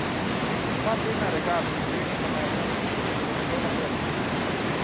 Dva tedna regat in treningov na Japonskem je bilo zelo napornih.